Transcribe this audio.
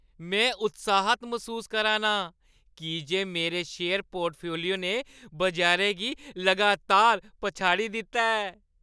में उत्साह्त‌ मसूस करा'रना आं की जे मेरे शेयर पोर्टफोलियो ने बजारै गी लगातार पछाड़ी दित्ता ऐ।